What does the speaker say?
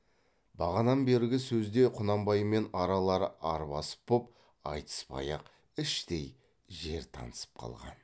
бағанан бергі сөзде құнанбаймен аралары арбасып боп айтыспай ақ іштей жер танысып қалған